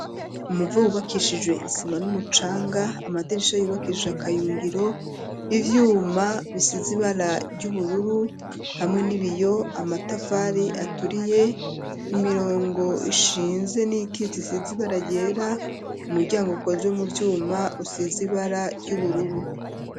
Umuvo, wubakishijwe isima, n'umucanga; amadirisha, yubakishije akayungiro; ivyuma, bisize ibara ry'ubururu, hamwe n'ibiyo; amatafari aturiye, imirongo ishinze, n'iyikitse, isize ibara ryera, umuryango, ukozwe mu vyuma, usize ibara ry'ubururu.